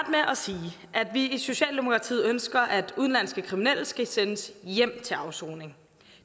jeg at vi i socialdemokratiet ønsker at udenlandske kriminelle skal sendes hjem til afsoning